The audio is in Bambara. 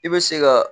I bɛ se ka